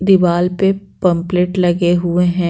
दीवाल पे पंपलेट लगे हुए हैं।